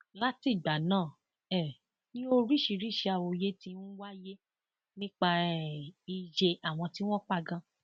látìgbà náà um ni oríṣiríìsì awuyewuye ti ń wáyé nípa um iye àwọn tí wọn pa ganan